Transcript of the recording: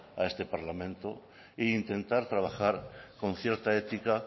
a este parlamenta e intentar trabajar con cierta ética